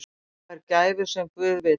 Sá fær gæfu sem guð vill.